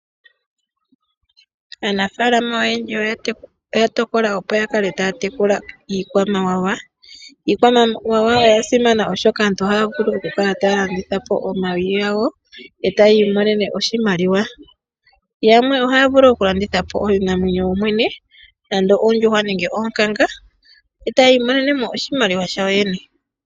Aanafaalama oyendji oya tokola opo yakale taya tekula iikwamawawa. Iikwamawawa oyasimana oshoka aantu ohaya vulu okukala taya landitha po omayi gawo , etaya iimomene oshimaliwa. Yamwe ohaya vulu okulandithapo iinamwenyo yoyene ngaashi oonkanga noondjuhwa etayi imonenemo oshimaliwa shayo yene.